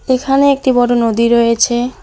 এখানে একটি বড় নদী রয়েছে।